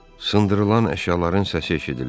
Sındırılan əşyaların səsi eşidilir.